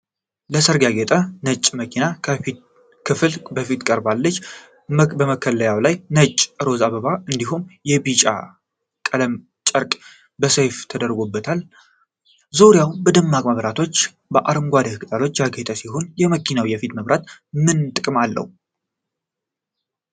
ለሠርግ ያጌጠ ነጭ መኪና የፊት ክፍል በቅርበት አለች። በመከለያው ላይ ነጭና ሮዝ አበባዎች እንዲሁም የቢዥ ቀለም ጨርቅ በሰያፍ ተዘርግቷል። ዙሪያው በደማቅ መብራቶችና አረንጓዴ ቅጠሎች ያጌጠ ሲሆን፣ የመኪናው የፊት መብራቶች ምን ጥቅም አለው?